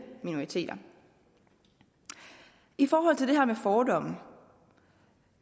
minoriteter i forhold til det her med fordomme